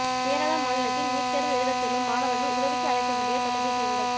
கேரள மாநிலத்தில் நீட் தேர்வு எழுதச் செல்லும் மாணவர்கள் உதவிக்கு அழைக்க வேண்டிய தொலைபேசி எண்கள்